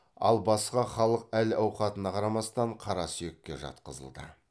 ал басқа халық әл ауқатына қарамастан қара сүйекке жатқызылды